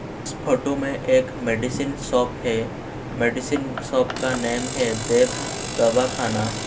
इस फोटो में एक मेडिसिन शॉप है मेडिसिन शॉप का नेम है देव दवाखाना --